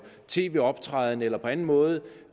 tv optræden eller på anden måde